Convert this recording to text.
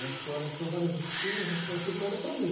Na escola são várias oficinas, essa sala foi criada para mim.